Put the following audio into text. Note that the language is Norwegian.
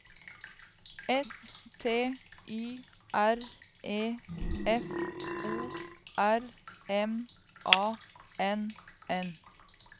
S T Y R E F O R M A N N